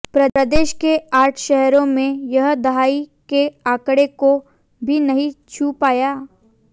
प्रदेश के आठ शहरों में यह दहाई के आंकड़े को भी नहीं छू पाया